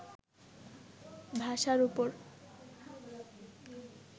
ভাষার ওপর